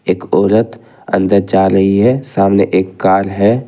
एक औरत अंदर जा रही है सामने एक कार है।